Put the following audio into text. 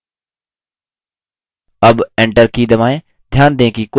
अब enter की दबाएँ